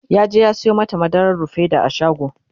yaje ya Sayo mata madarar rufaida a shago